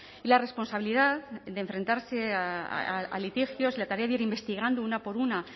y la responsabilidad de enfrentarse a litigios la tarea de ir investigando una por una